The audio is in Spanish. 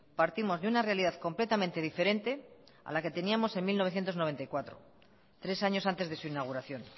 partimos de una realidad completamente diferente a la que teníamos en mil novecientos noventa y cuatro tres años antes de su inauguración